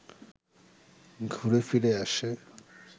ঘুরে-ফিরে আসে